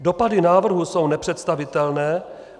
Dopady návrhů jsou nepředstavitelné.